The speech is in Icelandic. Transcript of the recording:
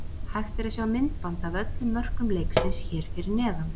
Hægt er að sjá myndband af öllum mörkum leiksins hér fyrir neðan.